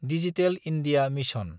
digital India mission